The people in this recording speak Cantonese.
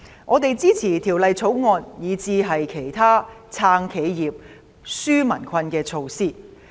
我們支持《條例草案》，以至其他"撐企業、紓民困"的措施。